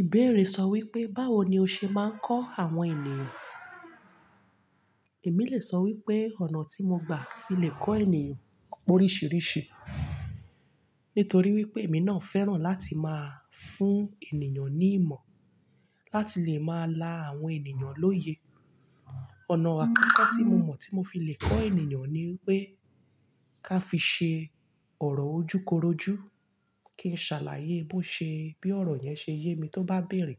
Ìbéèrè sọ wípé, báwo ni o ṣe máa ń kọ́ àwọn ènìyàn? Èmi lè sọ wípé, ọ̀nà tí mo gbà fi lè kọ́ ènìyàn p'oríṣìíríṣìí, nítorí wípé èmi náà fẹ́ràn láti máa fún ènìyàn ní ìmọ̀, láti lè máa la àwọn ènìyàn lóye. Ọ̀nà àkọ́kọ́ tí mo mọ̀ tí mo fi lè kọ́ ènìyàn ni wípé, ká fi ṣe ọ̀rọ̀ ojúkorojú, kí n ṣàlàyé bó ṣe bí ọ̀rọ̀ yẹn ṣe yé mi tó bá béèrè.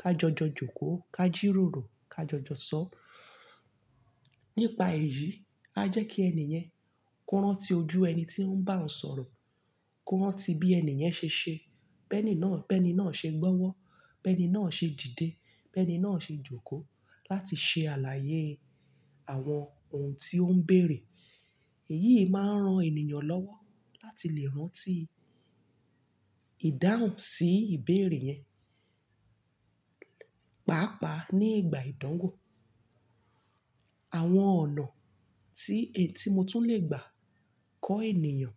Ka jọjọ jòkó, ka jí ròrò, ka jọjọ sọ̀. Nípa èyí, a jẹ́ kí ẹni yẹn kó rántí ojú ẹni tí ó ń bá ọ sọ̀rọ̀, kó rántí bí ẹni yẹn ṣe ṣe. Beení náà, bẹ́ẹ̀ni náà ṣe gbọ́wọ́, bẹ́ẹ̀ni náà ṣe dìde, bẹ́ẹ̀ni náà ṣe jòkó láti ṣe àlàyé àwọn ohun tí ó ń bèèrè. Èyí máa ń ran ènìyàn lọ́wọ́ láti lè rántí ìdáhùn sí ìbéèrè yẹn, pàápàá ní ìgbà ìdánwò. Àwọn ọ̀nà tí èn-- tí mo tún lè gbà kọ́ ènìyàn,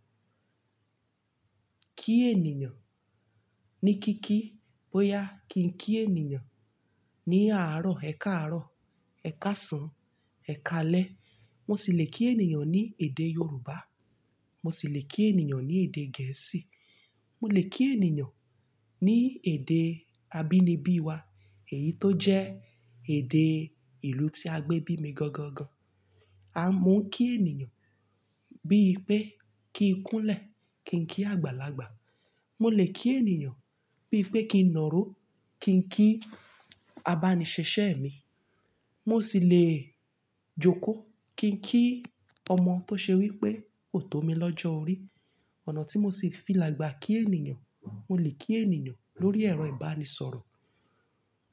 kí ènìyàn ní kí kí, bóyá kí n kí ènìyàn ní àárọ̀, ẹ̀kaàárọ̀, ẹ̀kásán, ẹ̀kalẹ̀. Mo sì lè kí ènìyàn ní èdè Yorùbá, mo sì lè kí ènìyàn ní èdè Gẹ̀ẹ́sì, mo lè kí ènìyàn ní èdè abínibí wa, èyí tó jẹ́ èdè ìlú tí a gbé bí mi gangan gan. A mo n kí ènìyàn bíi pé kí n kúnlẹ̀, kí n kí àgbàlagbà. Mo lè kí ènìyàn bíi pé kí n nàró, kí n kí abánisẹ́sẹ́ mi. Mo sì lè jòkó kí n kí ọmọ tó ṣe wípé kò tó mi lọ́jọ́ orí. Ọ̀nà tí mo sì fi lè gbà kí ènìyàn, mo lè kí ènìyàn lórí ẹ̀rọ ìbánisọ̀rọ̀.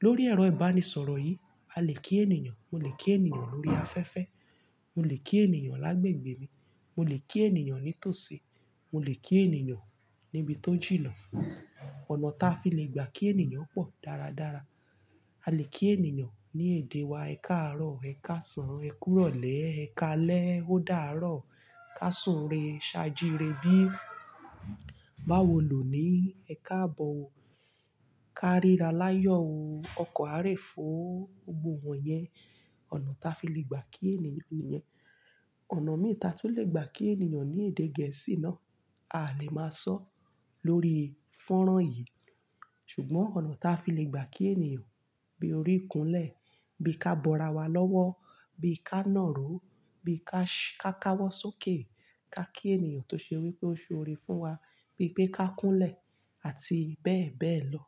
Lórí ẹ̀rọ ìbánisọ̀rọ̀ yìí, a lè kí ènìyàn, mo lè kí ènìyàn lórí afẹ́fẹ́, mo lè kí ènìyàn lágbègbè mi, mo lè kí ènìyàn ní tòsí, mo lè kí ènìyàn níbi tó jìnnà. Ọ̀nà táa fi lè gbà kí ènìyàn pọ̀ dáradára. A lè kí ènìyàn ní èdè wa, ẹ̀kaàárọ̀, ẹ̀kásán, ẹkúrọ̀lẹ́, ẹ̀kalẹ́, ódáàárọ̀, ká súre, ṣajure bí, báwo ló ní, ẹ káàbọ̀ o, ká ríra láyọ̀ o, ọkọ̀ a rẹ fọ́, gbogbo wọ̀nyẹn ọ̀nà táa fi lè gbà kí ènìyàn ní í yẹn. Ọ̀nà mìí táa tún lè gbà kí ènìyàn ní èdè Gẹ̀ẹ́sì náà, a lè máa sọ lórí fọ́nrán yìí. Ṣùgbọ́n ọ̀nà tí a fi lè gbà kí ènìyàn bíi orí ikúńlẹ̀, bí i ká bọ́ra wá lọ́wọ́, bí i ká naàró, bí i ká, ká káwọ́ sókè, ká kí ènìyàn tó ṣe wípé ó ṣe orí fún wa, bí i pé ká kúnlẹ̀ àti bẹ́ẹ̀ bẹ́ẹ̀ lọ.